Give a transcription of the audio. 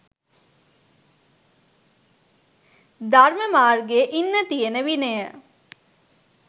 ධර්ම මාර්ගයේ ඉන්න තියෙන විනය